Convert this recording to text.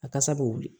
A kasa bɛ wuli